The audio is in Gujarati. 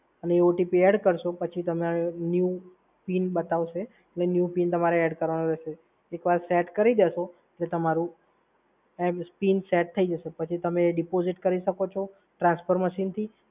અને એ OTP નાખશો એટલે નવુ PIN બતાવશે એટલે નવો PIN તમારે નાખવાનો રહેશે. એક વાર સેટ કરી દેશો એટલે તમારું પિન સેટ થઈ જશે. પછી તમે deposit કરી શકો છો transfer machine થી